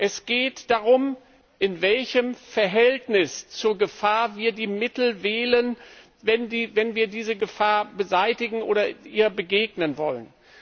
Es geht darum, in welchem Verhältnis zur Gefahr wir die Mittel wählen, wenn wir diese Gefahr beseitigen oder ihr begegnen wollen.